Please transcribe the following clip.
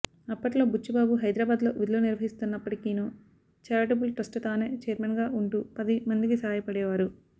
అప్పట్లో బుచ్చిబాబు హైదరాబాద్లో విధులు నిర్వహిస్తున్నప్పటికినీ ఛారిటబుల్ ట్రస్ట్కు తానే ఛైర్మన్గా ఉంటూ పది మందికి సాయపడేవారు